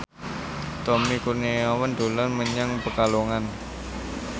Tommy Kurniawan dolan menyang Pekalongan